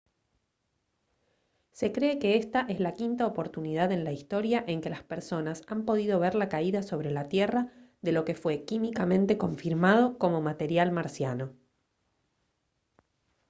se cree que esta es la quinta oportunidad en la historia en que las personas han podido ver la caída sobre la tierra de lo que fue químicamente confirmado como material marciano